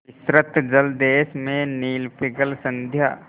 विस्तृत जलदेश में नील पिंगल संध्या